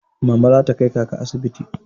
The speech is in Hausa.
Mama za ta kai kaka asibiti.